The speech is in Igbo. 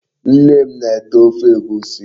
Nne m na-ete Ofe Egwusi